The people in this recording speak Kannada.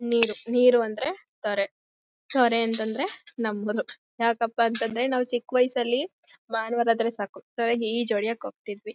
ನೀರು ನೀರು ಅಂದ್ರೆ ಕೆರೆ ಕೆರೆ ಅಂತಂದ್ರೆ ನಂಬರು ಯಕ್ಕಪ್ಪ ಅಂದ್ರೆ ನಾವ್ ಚಿಕ್ಕ ವಯಸ್ಸಲ್ಲಿ ಭಾನುವಾರ ಬಂದ್ರೆ ಸಾಕು ಈಜು ಹೊಡಿಯಕೆ ಹೋಗತಿದ್ವಿ.